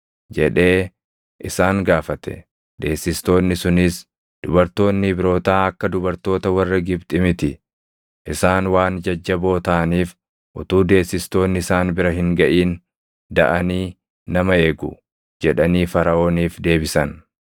Deessistoonni sunis, “Dubartoonni Ibrootaa akka dubartoota warra Gibxi miti; isaan waan jajjaboo taʼaniif utuu deessistoonni isaan bira hin gaʼin daʼanii nama eegu” jedhanii Faraʼooniif deebisan.